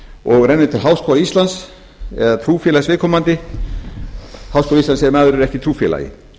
og rennur til háskóla íslands eða trúfélags viðkomandi háskóla íslands ef maður er ekki í trúfélagi